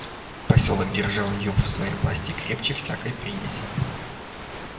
посёлок держал её в своей власти крепче всякой привязи